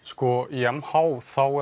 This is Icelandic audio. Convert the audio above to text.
í m h er